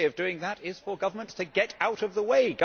The way of doing that is for governments to get out of the way